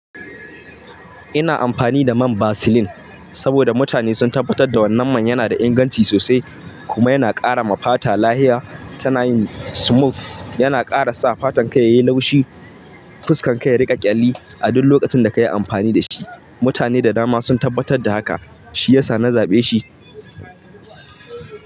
Ina amfani da man Vaseline saboda mutane sun tabbatar da wannan man yana da inganci sosai kuma yana ƙara ma fata lahia. Tana yin smooth, yana ƙara sa fatan ka yayi lau shi fuskar ka ya riƙa ƙyalli a duk lokacin da ka yi amfani da shi. Mutane da dama sun tabbatar da haka, shi yasa na zaɓe shi.